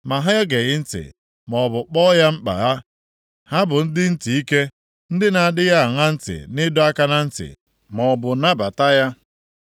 Ma ha egeghị ntị, maọbụ kpọọ ya mkpa ha. Ha bụ ndị ntị ike, ndị na-adịghị aṅa ntị nʼịdọ aka na ntị, maọbụ nabata ya.